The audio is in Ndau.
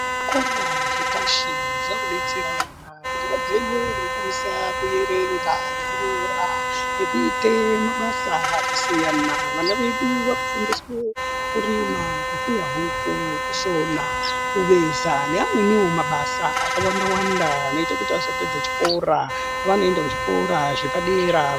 Zvikora zvepashi zvaakudetsera vana kuti vagone veikwanisa kuerenga nekunyora nekuite mabasa akasiyana. Vana vedu vaakufundiswe kurima, kupfuya huku, kusona, kuveza neamweniwo mabasa akawanda-wanda anoita kuti azopedza chikora pavanoenda kuzvikora zvepadera...